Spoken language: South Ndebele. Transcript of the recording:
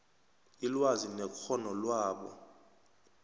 ilwazi nekghono labo